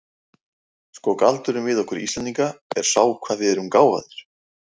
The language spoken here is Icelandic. Sko, galdurinn við okkur Íslendinga er sá hvað við erum gáfaðir.